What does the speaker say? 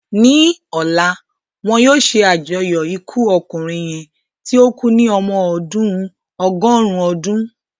Ní ọ̀la, wọn yóò ṣe àjọyọ̀ ikú ọkùnrin yẹn tí ó kú ní ọmọ ọdún ọgọ́rùn-ún ọdún.